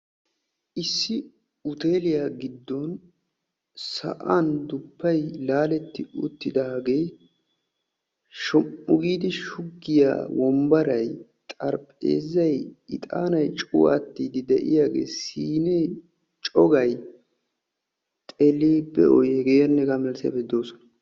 Issi hooteliyaa giddon sa'an duppay laaletti uttidagee shom"u giidi shuggiyaa wombbaray xaraphpheezzay ixaanay cuuwattiidi de'iyaagee siinee cogay xeelli be'oy hegaanne hegaa milatiyaageti de'oosona.